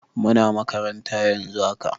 Muna makabarta yanzu haka.